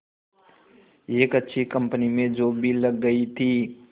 एक अच्छी कंपनी में जॉब भी लग गई थी